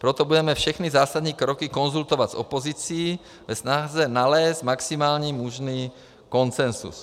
Proto budeme všechny zásadní kroky konzultovat s opozicí ve snaze nalézt maximálně možný konsenzus.